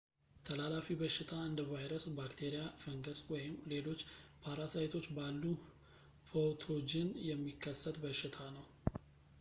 ተላላፊ በሽታ እንደ ቫይረስ ባክቴሪያ ፈንገስ ወይም ሌሎች ፓራሳይቶች ባሉ ፓቶጅን የሚከሰት በሽታ ነው